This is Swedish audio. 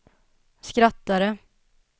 skrattade